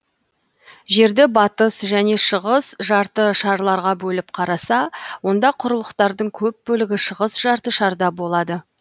жерді батыс және шығыс жарты шарларға бөліп қараса онда құрлықтардың көп бөлігі шығыс жарты шарда болады